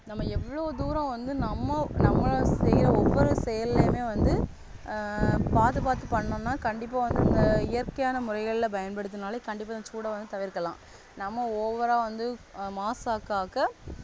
நம்ம எவ்வளோ தூரம் வந்து நம்ம நம்ம செய்ற ஒவ்வொரு செயல்லயுமே வந்து ஆஹ் பாகுபாத்து பண்ணம்னா கண்டிப்பா வந்து அந்த இயற்கையான முறைகளில பயன்படுத்தினாலே கண்டிப்பா சூட வந்து தவிர்க்கலாம் நம்ம over ஆ வந்து